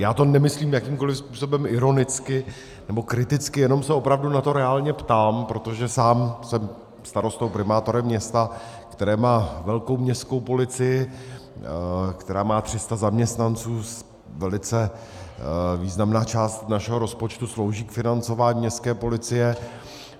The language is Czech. Já to nemyslím jakýmkoli způsobem ironicky nebo kriticky, jenom se opravdu na to reálně ptám, protože sám jsem starostou, primátorem města, které má velkou městskou policii, která má 300 zaměstnanců, velice významná část našeho rozpočtu slouží k financování městské policie.